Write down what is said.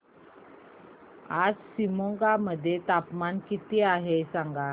आज शिमोगा मध्ये तापमान किती आहे सांगा